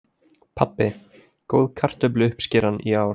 Pabbi: Góð kartöfluuppskeran í ár.